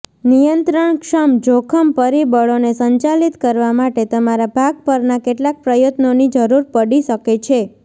નિયંત્રણક્ષમ જોખમ પરિબળોને સંચાલિત કરવા માટે તમારા ભાગ પરના કેટલાક પ્રયત્નોની જરૂર પડી શકે છે